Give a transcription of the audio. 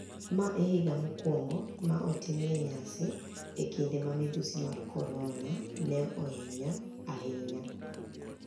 Ma e higa mokwonigo ma otimie niyasi e kinide ma midhusi mar coronia ni e oniya ahiniya